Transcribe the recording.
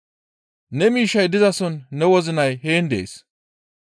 Ne miishshay dizason ne wozinay heen dees.